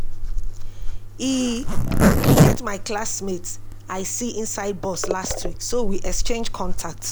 E get my classmate I see inside bus last week so we exchange contact